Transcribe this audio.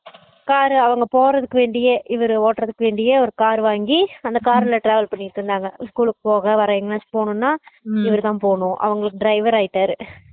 car அவங்க போறதுக்கு வேண்டியே இவரு ஓட்டுறதுக்கு வேண்டியே ஒரு car வாங்கி அந்த car ல travel பண்ணிட்டு இருந்தாங்க school கு போக வர எங்கயாச்சு போகணும்னா இவர் தான் போகணும் அவங்களுக்கு driver ஆய்டாரு